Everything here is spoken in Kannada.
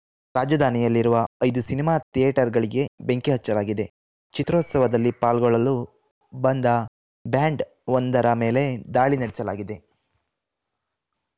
ರಾಜಧಾನಿಯಲ್ಲಿರುವ ಐದು ಸಿನಿಮಾ ಥಿಯೇಟರ್‌ಗಳಿಗೆ ಬೆಂಕಿ ಹಚ್ಚಲಾಗಿದೆ ಚಿತ್ರೋತ್ಸವದಲ್ಲಿ ಪಾಲ್ಗೊಳ್ಳಲು ಬಂದ ಬ್ಯಾಂಡ್‌ ಒಂದರ ಮೇಲೆ ದಾಳಿ ನಡೆಸಲಾಗಿದೆ